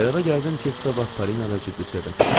Qərara gəldim ki, sabah Parina ilə ciddi söhbət eləyim.